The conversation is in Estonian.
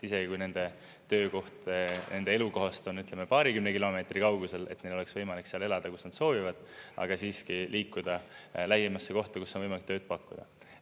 Isegi kui nende töökoht nende elukohast on, ütleme, paarikümne kilomeetri kaugusel, et neil oleks võimalik seal elada, kus nad soovivad, aga siiski liikuda lähimasse kohta, kus on võimalik tööd pakkuda.